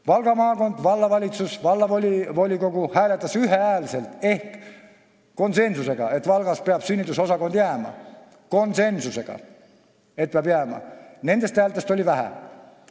Valga maakonnas hääletasid vallavalitsus ja vallavolikogu ühehäälselt ehk konsensuslikult, et Valgasse peab sünnitusosakond jääma, aga nendest häältest oli vähe.